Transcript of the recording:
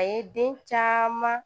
A ye den caman